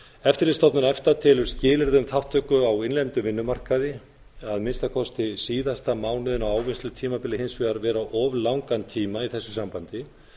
eftirlitsstofnun efta telur skilyrði um þátttöku á innlendum vinnumarkaði að minnsta kosti síðasta mánuðinn á ávinnslutímabili hins vegar vera of langan tíma í þessu sambandi